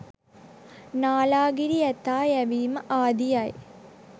නාලාගිරි ඇතා යැවීම ආදියයි.